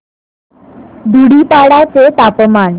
धुडीपाडा चे तापमान